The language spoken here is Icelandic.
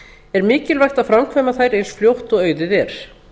er mikilvægt að framkvæma þær eins fljótt og auðið er